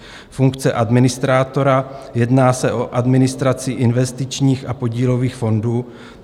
Funkce administrátora: Jedná se o administraci investičních a podílových fondů.